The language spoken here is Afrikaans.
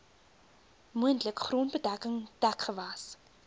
moontlik grondbedekking dekgewas